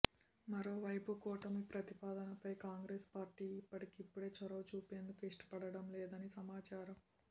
మరో వైపు కూటమి ప్రతిపాదనపై కాంగ్రెస్ పార్టీ ఇప్పటికిప్పుడే చొరవ చూపేందుకు ఇష్టపడడం లేదని సమాచారం